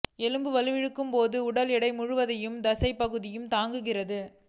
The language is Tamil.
எலும்பு வலுவிழக்கும் போது உடல் எடை முழுவதையும் தசைப்பகுதி தாங்குகிறது